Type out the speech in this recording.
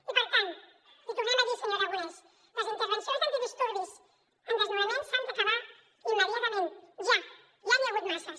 i per tant l’hi tornem a dir senyor aragonès les intervencions d’antidisturbis en desnonaments s’han d’acabar immediatament ja ja n’hi ha hagut masses